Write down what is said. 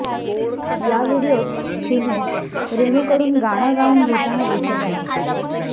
या व्हीडीओत हिमेश रेणूकडून गाणं गाऊन घेताना दिसत आहे